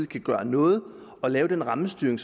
gøre noget ved at lave den rammestyring